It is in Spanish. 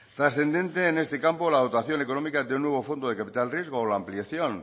trascendente en este campo la dotación económica de un nuevo fondo de capital riesgo o la ampliación